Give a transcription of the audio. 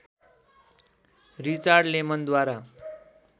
Richard लेमनद्वारा